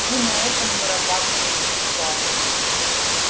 вы на этом зарабатываете славу